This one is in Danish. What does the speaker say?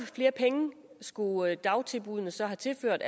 flere penge skulle dagtilbuddene så have tilført